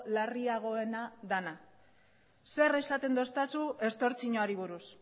larriagoena dena zer esaten didazu estortsioari buruz